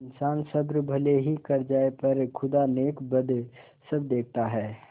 इन्सान सब्र भले ही कर जाय पर खुदा नेकबद सब देखता है